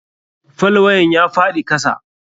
Falwayen ya faɗi kasa.